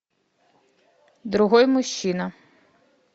другой мужчина